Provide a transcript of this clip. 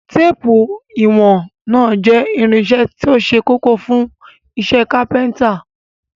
Téépù ìwọ̀n náà jẹ́ irinṣẹ́ tó ṣe kókó fún iṣẹ́ kápẹ́ńtà.